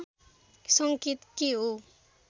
सङ्केत के हो